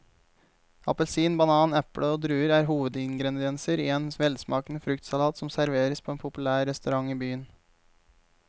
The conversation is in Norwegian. Appelsin, banan, eple og druer er hovedingredienser i en velsmakende fruktsalat som serveres på en populær restaurant i byen.